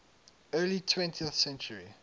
early twentieth century